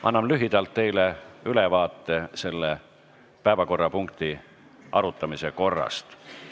Annan teile lühidalt ülevaate selle päevakorrapunkti arutamise korrast.